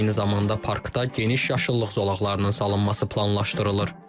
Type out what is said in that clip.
Eyni zamanda parkda geniş yaşıllıq zolaqlarının salınması planlaşdırılır.